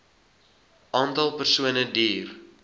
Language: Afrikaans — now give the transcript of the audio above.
aantal persone duur